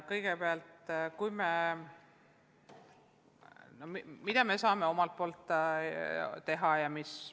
Kõigepealt, mida me saame omalt poolt teha?